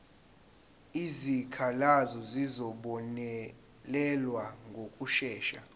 izikhalazo zizobonelelwa ngokushesha